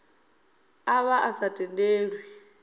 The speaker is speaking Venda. a vha a sa tendelwi